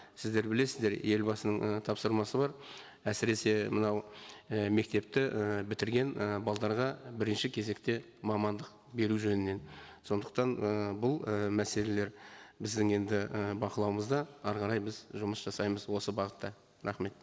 сіздер білесіздер елбасының і тапсырмасы бар әсіресе мынау і мектепті і бітірген і бірінші кезекте мамандық беру жөнінен сондықтан ы бұл і мәселелер біздің енді і бақылауымызда әрі қарай біз жұмыс жасаймыз осы бағытта рахмет